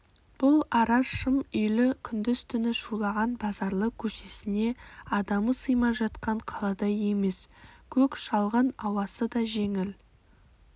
бұл ара шым үйлі күндіз-түні шулаған базарлы көшесіне адамы сыймай жатқан қаладай емес көк шалғын ауасы да жеңіл